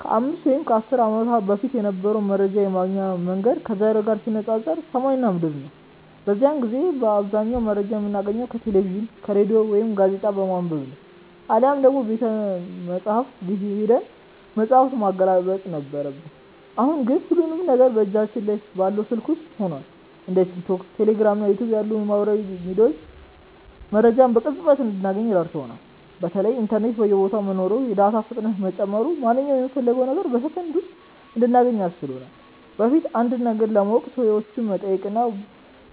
ከ5 ወይም ከ10 ዓመት በፊት የነበረው መረጃ የማግኛ መንገድ ከዛሬው ጋር ሲነፃፀር ሰማይና ምድር ነው። በዚያን ጊዜ አብዛኛውን መረጃ የምናገኘው ከቴሌቪዥን፣ ከሬዲዮ ወይም ጋዜጣ በማንበብ ነበር፤ አሊያም ደግሞ ቤተመጻሕፍት ሄደን መጽሐፍ ማገላበጥ ነበረብን። አሁን ግን ሁሉም ነገር በእጃችን ላይ ባለው ስልክ ውስጥ ሆኗል። እንደ ቲክቶክ፣ ቴሌግራም እና ዩቲዩብ ያሉ የማህበራዊ ሚዲያ ገጾች መረጃን በቅጽበት እንድናገኝ ረድተውናል። በተለይ ኢንተርኔት በየቦታው መኖሩና የዳታ ፍጥነት መጨመሩ ማንኛውንም የምንፈልገውን ነገር በሰከንድ ውስጥ እንድናገኝ አስችሎናል። በፊት አንድን ነገር ለማወቅ ሰዎችን መጠየቅ ወይም